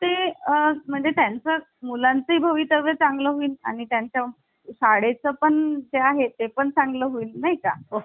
ते आह म्हणजे टाइम चा मुलांचे भवितव्य चांगलं होईल आणि त्यांच्या शाळे च पण पण जे आहे ते पण चांगलं होईल नाही का